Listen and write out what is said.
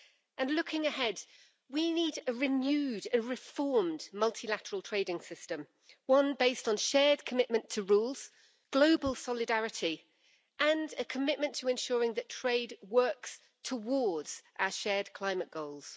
And looking ahead, we need a renewed, a reformed multilateral trading system, one based on shared commitment to rules, global solidarity and a commitment to ensuring that trade works towards our shared climate goals.